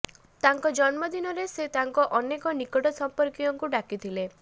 ତାଙ୍କ ଜନ୍ମ ଦିନରେ ସେ ତାଙ୍କ ଅନେକ ନିକଟ ସମ୍ପର୍କୀୟଙ୍କୁ ଡାକିଥିଲେ